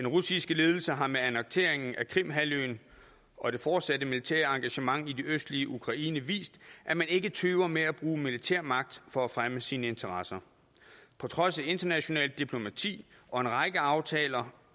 russiske ledelse har med annekteringen af krim halvøen og det fortsatte militære engagement i det østlige ukraine vist at man ikke tøver med at bruge militær magt for at fremme sine interesser på trods af internationalt diplomati og en række aftaler